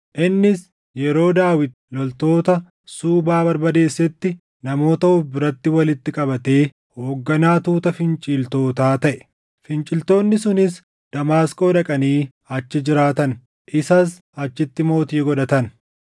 Innis yeroo Daawit loltoota Suubaa barbadeessetti namoota of biratti walitti qabatee hoogganaa tuuta finciltootaa taʼe; finciltoonni sunis Damaasqoo dhaqanii achi jiraatan; isas achitti mootii godhatan.